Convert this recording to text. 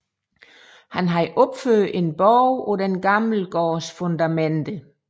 Han havde opført en borg på den gamle gårds fundamenter